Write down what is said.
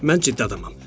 Mən ciddi adamam.